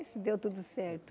Mas deu tudo certo.